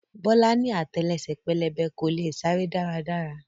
Bọ́lá ni àtẹlẹsẹ̀ pẹlẹbẹ, kò leè sáré dára dára.